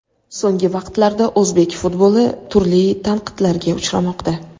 So‘nggi vaqtlarda o‘zbek futboli turli tanqidlarga uchramoqda.